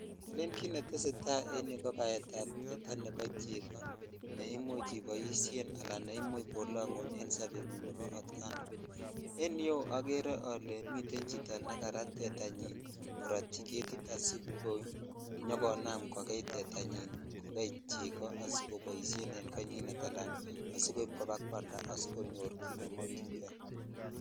Elen kit netesetai en yuu ko baet ab tetaa nebo cheko ne imuch iboishen ala neimuch kolongunen sobengunng nebo otkan tukul en yu okere miten chito nejarat tetanyin korotyi ketit asikonam kokei tetanyin ko kei cheko asikeboishen en konyinet ala asikoip ko bakwalda asikonyor kit nemokyin kei .